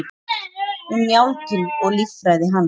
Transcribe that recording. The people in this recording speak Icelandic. Um njálginn og líffræði hans.